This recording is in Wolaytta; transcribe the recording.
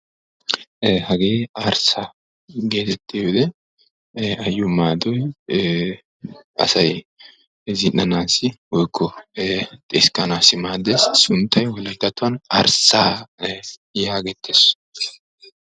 Hagee arssaa geetettiyoode asay zin'awunne xiskkanawu maadiyaga gidishin sunttay arssaa geeteetes.